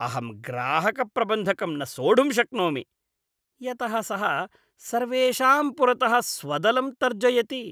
अहं ग्राहकप्रबन्धकं न सोढुं शक्नोमि, यतः सः सर्वेषां पुरतः स्वदलं तर्जयति।